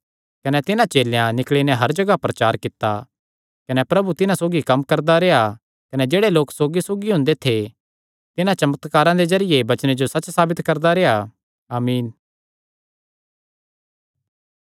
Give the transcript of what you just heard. कने तिन्हां चेलेयां निकल़ी नैं हर जगाह प्रचार कित्ता कने प्रभु तिन्हां सौगी कम्म करदा रेह्आ कने जेह्ड़े लोक सौगीसौगी हुंदे थे तिन्हां चमत्कारां दे जरिये वचने जो सच्च साबित करदा रेह्आ आमीन